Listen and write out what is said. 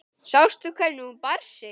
Sástu hvernig hún bar sig.